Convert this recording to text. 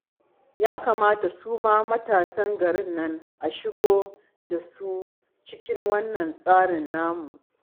Ya kamata su ma matasan garin nan a shigo da su cikin wannan tsarin namu